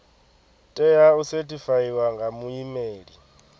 tea u sethifaiwa nga muimeli